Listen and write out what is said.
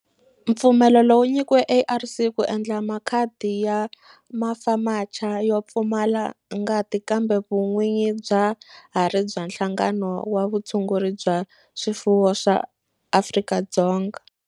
Mpfumelelo wu nyikiwile ARC ku endla makhadi ya FAMACHA yo pfumala ngati kambe vun'winyi bya ha ri bya Nhlangano wa Vutshunguri bya swifuwo wa Afrika-Dzonga.